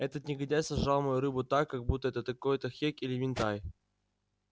этот негодяй сожрал мою рыбу так как будто это какой-то хек или минтай